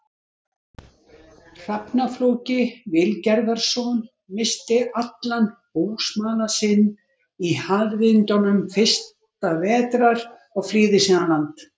Hrafna-Flóki Vilgerðarson, missti allan búsmala sinn í harðindum fyrsta vetrar og flýði síðan land.